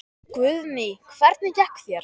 Guðný: Hvernig gekk þér?